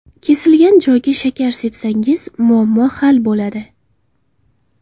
Kesilgan joyga shakar sepsangiz muammo hal bo‘ladi.